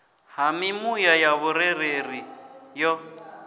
ha mimuya ya vhurereli yo